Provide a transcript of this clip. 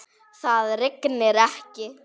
Það rignir ekki.